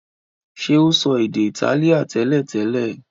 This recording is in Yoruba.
ṣe o so èdè Itálíà teletele?